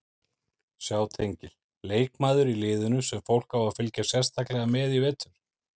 Sjá tengil Leikmaður í liðinu sem fólk á að fylgjast sérstaklega með í vetur?